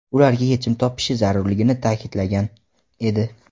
ularga yechim topishi zarurligini ta’kidlagan edi.